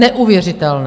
Neuvěřitelné!